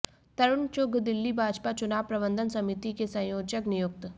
तरूण चुघ दिल्ली भाजपा चुनाव प्रबंधन समिति के संयोजक नियुक्त